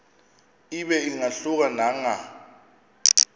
ibe ingahluka nanga